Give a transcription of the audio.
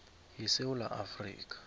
ye sewula afrika